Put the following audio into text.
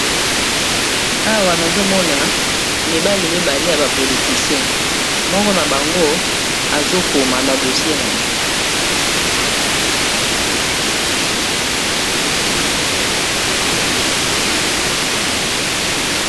Awa nazomona mibali mibale ya ba politicien, moko na bango azokoma na buku na ye.